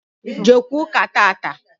Jeekwa ụ́kà tata!